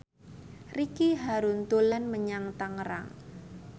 Ricky Harun dolan menyang Tangerang